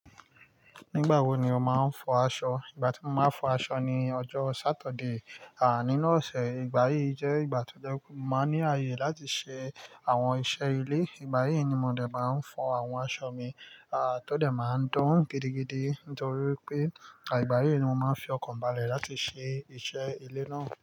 Nígbà wo ni o máa ń fọ aṣọ? Ìgbà tí mo máa ń fọ aṣọ ni ọjọ́ Saturde. À nínu óṣe, ìgbà yí jẹ́ ìgbà tó jẹ wipe, mo máa ní ààyè láti ṣe àwọn iṣẹ́ ilé. Ìgbà yí ni mo dè máa ń fọ àwọn aṣọ mi. À tó dè máa ń dán gidigidi nítorí pé, àìgbà yí ni mo máa ń fi ọkàn ba lẹ̀ láti ṣe iṣẹ́ ilé náà.